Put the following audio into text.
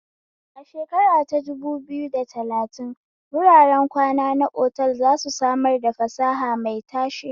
A shekara ta dubu biyu da talatin, wuraren kwana na otal za su samar da fasaha mai tashe.